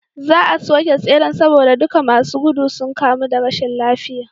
Za a soke tseren saboda duka masu gudu sun kamu da rashin lafiya